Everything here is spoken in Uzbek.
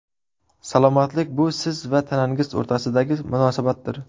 Salomatlik bu siz va tanangiz o‘rtasidagi munosabatdir.